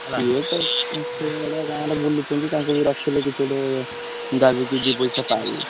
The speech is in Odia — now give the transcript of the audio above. ସିଏ ତ ସେଇଗୁଡା ଗାଁରେ ବୁଲୁଛନ୍ତି ତାଙ୍କୁ ବି ରଖିଲେ କିଛି ଗୋଟେ ଯାହା ବି କି ଦି ପଇସା ପାଇବ।